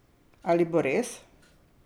Ali bo res?